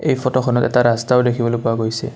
এই ফটো খনত এটা ৰাস্তাও দেখিবলৈ পোৱা গৈছে।